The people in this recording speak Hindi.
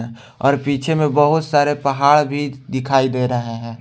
और पीछे में बहुत सारे पहाड़ भी दिखाई दे रहा है।